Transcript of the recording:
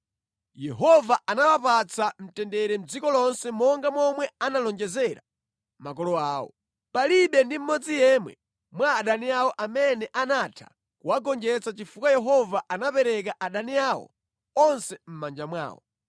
Yehova anawapatsa mtendere mʼdziko lonse monga momwe analonjezera makolo awo. Palibe ndi mmodzi yemwe mwa adani awo amene anatha kuwagonjetsa chifukwa Yehova anapereka adani awo onse mʼmanja mwawo.